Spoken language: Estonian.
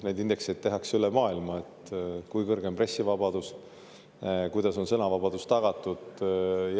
Neid indekseid tehakse üle maailma: kui kõrge on pressivabadus, kuidas on sõnavabadus tagatud.